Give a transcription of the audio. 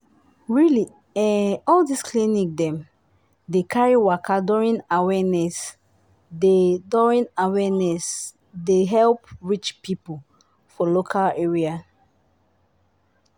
really eh all this clinic dem dey carry waka during awareness dey during awareness dey help reach people for local area.